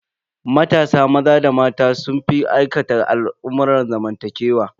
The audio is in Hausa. Matasa maza da mata sun fi aikata al'amurran zamantakewa.